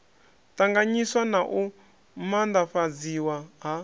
ṱanganyiswa na u maanḓafhadziswa ha